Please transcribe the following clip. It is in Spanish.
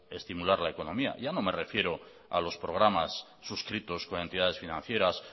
estimular la economía ya no me refiero a los programas suscritos con entidades financieras